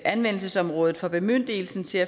anvendelsesområdet for bemyndigelsen til